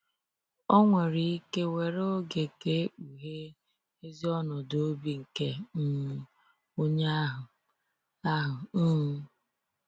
Ọ nwere ike were oge ka e kpughee ezi ọnọdụ obi nke um onye ahụ. ahụ. um